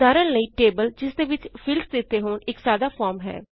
ਉਦਹਾਰਣ ਲਈ ਟੇਬਲ ਜਿਸ ਦੇ ਵਿਚ ਫੀਲਡਸ ਦਿੱਤੇ ਹੋਣ ਇਕ ਸਾਦਾ ਫੋਰਮ ਹੈ